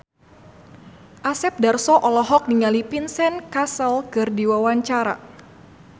Asep Darso olohok ningali Vincent Cassel keur diwawancara